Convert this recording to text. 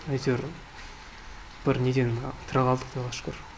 әйтеуір бір неден тірі қалдық құдайға шүкір